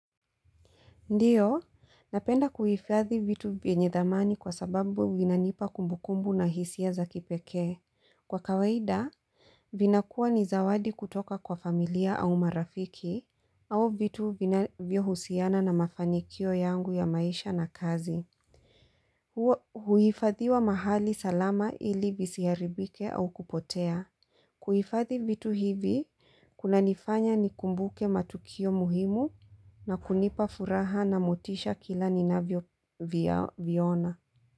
Ndiyo, napenda kuhifadhi vitu vyenye dhamani kwa sababu vinanipa kumbukumbu na hisia za kipeke. Kwa kawaida, vinakuwa ni zawadi kutoka kwa familia au marafiki au vitu vinavyohusiana na mafanikio yangu ya maisha na kazi. Huifadhiwa mahali salama ili visiharibike au kupotea. Kuhifadhi vitu hivi, kuna nifanya ni kumbuke matukio muhimu na kunipa furaha na motisha kila ninavyoviona.